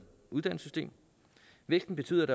uddannelsessystem væksten betyder